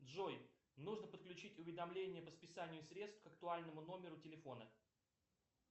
джой нужно подключить уведомление по списанию средств к актуальному номеру телефона